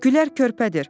Gülər körpədir.